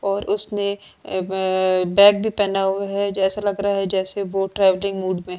और उसने अ ब बैग भी पहना हुआ है जैसा लग रहा है जैसे बोट ट्रैवलिंग मूड में है।